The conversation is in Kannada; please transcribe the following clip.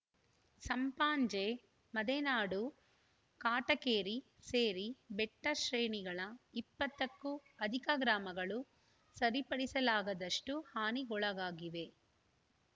ಸಂಪಾಜೆ ಮದೆನಾಡು ಕಾಟಕೇರಿ ಸೇರಿ ಬೆಟ್ಟಶ್ರೇಣಿಗಳ ಇಪ್ಪತ್ತಕ್ಕೂ ಅಧಿಕ ಗ್ರಾಮಗಳು ಸರಿಪಡಿಸಲಾಗದಷ್ಟುಹಾನಿಗೊಳಗಾಗಿವೆ